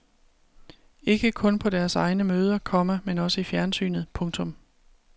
Ikke kun på deres egne møder, komma men også i fjernsynet. punktum